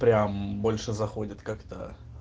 прям больше заходит как-то